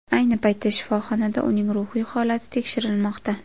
Ayni paytda shifoxonada uning ruhiy holati tekshirilmoqda.